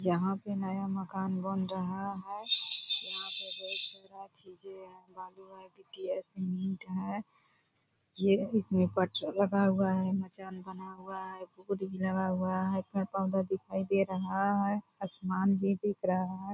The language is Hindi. यहाँ पे नया मकान बन रहा है। यहाँ पे बहुत सारा चीजें हैं बालू है गिट्टी है सीमेंट है। ये इसमें पथर लगा हुआ है। मचान बना हुआ है। बोर्ड भी लगा हुआ है। पेड़-पोधा दिखाई दे रहा है। आसमान भी दिख रहा है।